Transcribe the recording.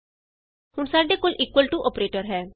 ਹੁਣ ਸਾਡੇ ਕੋਲ ਇਕੁਅਲ ਟੂ ਅੋਪਰੇਟਰ ਹੈ